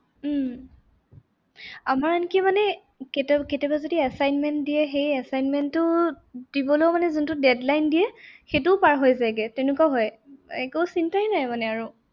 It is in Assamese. উম আমাৰ আনকি মানে কেতিয়াবা, কেতিয়াবা যদি assignment দিয়ে সেই assignment টো দিবলৈও মানে যোনটো deadline দিয়ে সেইটোও পাৰ হৈ যায় গে তেনেকুৱা হয়। একো চিন্তাই নাই মানে আৰু।